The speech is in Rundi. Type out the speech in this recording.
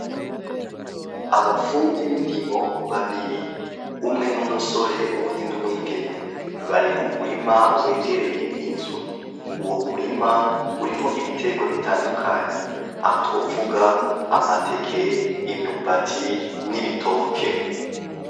Abafundi b'indimo babiri .Umwe n'umusore uwundi n'umwigeme .Bari mu murima wegereye inzu ,uwo murima urimwo ibitegwa bitandukanye, aho twovuga amateke ,imyumbati, n'ibitoke.